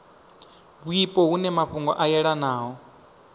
wipo hune mafhungo a yelanaho